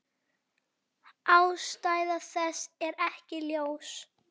Ástæða þess er ekki ljós.